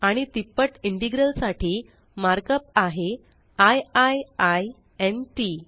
आणि तिप्पट इंटेग्रल साठी मार्कअप आहे आय आय आय न् टीटी